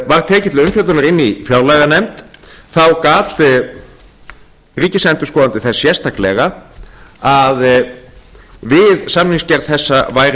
var tekið til umfjöllunar í fjárlaganefnd gat ríkisendurskoðandi þess sérstaklega að við samningsgerð þessa væri